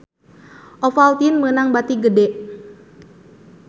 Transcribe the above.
Ovaltine meunang bati gede